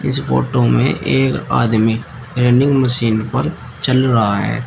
इस फोटो में एक आदमी रनिंग मशीन पर चल रहा है।